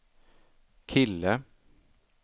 kille